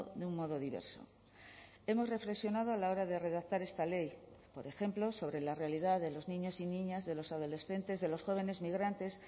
de un modo diverso hemos reflexionado a la hora de redactar esta ley por ejemplo sobre la realidad de los niños y niñas de los adolescentes de los jóvenes migrantes